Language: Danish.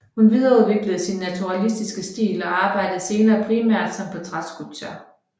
Hun videreudviklede sin naturalistiske stil og arbejdede senere primært som portrætskulptør